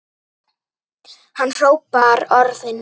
Hann hrópar orðin.